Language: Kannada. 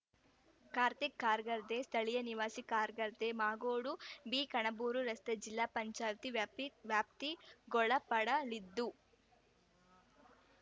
ಕಾರ್ತಿಕ್‌ ಕಾರ್‌ಗದ್ದೆ ಸ್ಥಳೀಯ ನಿವಾಸಿ ಕಾರ್‌ಗದ್ದೆಮಾಗೋಡುಬಿಕಣಬೂರು ರಸ್ತೆ ಜಿಲ್ಲಾ ಪಂಚಾಯತಿ ವ್ಯಾಪ್ತ ವ್ಯಾಪ್ತಿಗೊಳಪಡಲಿದ್ದು